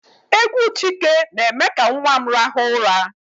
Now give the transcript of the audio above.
Égwú Chike na-eme ka nwa m raha ụra.